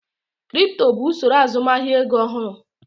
Kripto bụ usoro azụmahịa ego ọhụrụ.